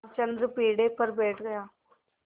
रामचंद्र पीढ़े पर बैठ गया